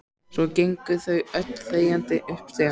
Svo gengu þau öll þegjandi upp stigann.